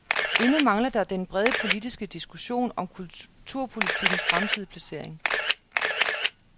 Endnu mangler der den brede politiske diskussion om kulturpolitikkens fremtidige placering.